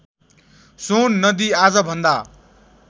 सोन नदी आजभन्दा